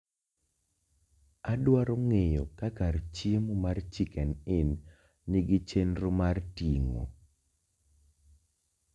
Adwaro ng'eyo ka kar chiemo mar chicken in nigi chenro mar ting'o